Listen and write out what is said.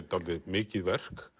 dálítið mikið verk